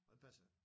Og den passer ikke